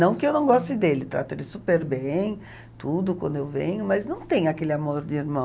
Não que eu não goste dele, trato ele super bem, tudo, quando eu venho, mas não tem aquele amor de irmão.